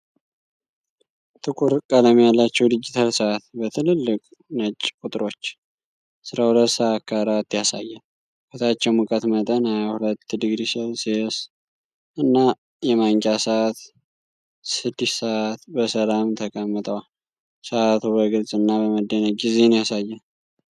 ጥቁር ቀለም ያለው ዲጂታል ሰዓት በትልልቅ ነጭ ቁጥሮች 12:04 ያሳያል። ከታች የሙቀት መጠን 22.0°C እና የማንቂያ ሰዓት 6:00 በሰላም ተቀምጠዋል። ሰዓቱ በግልጽ እና በመደነቅ ጊዜን ያሳያል።